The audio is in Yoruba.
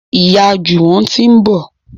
Ìyá Juwon tí ń bọ.